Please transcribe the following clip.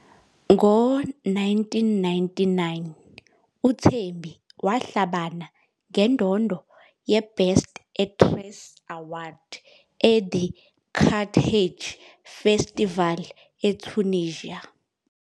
Ngo-1999, uThembi wahlabana ngendondo yeBest Actress Award eThe Carthage Festival eTunisia.